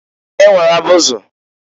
E nwere abụzị.